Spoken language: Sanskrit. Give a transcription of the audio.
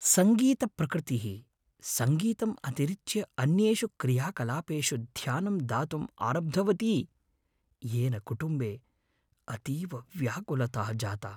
सङ्गीतप्रकृतिः सङ्गीतम् अतिरिच्य अन्येषु क्रियाकलापेषु ध्यानं दातुम् आरब्धवती येन कुटुम्बे अतीव व्याकुलता जाता।